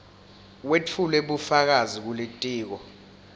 wetfule bufakazi kulitiko